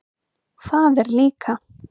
Það er líka.